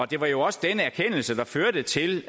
det var jo også denne erkendelse der førte til